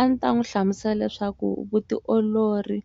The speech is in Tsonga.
A ndzi ta n'wi hlamusela leswaku vutiolori